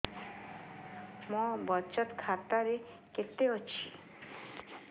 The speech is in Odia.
ମୋ ବଚତ ଖାତା ରେ କେତେ ଅଛି